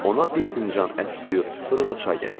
Ona bir fincan ət suyu, sonra da çay gətirdi.